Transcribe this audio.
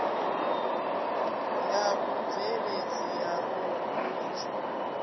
ya vhubveledzi ya u vhuiswa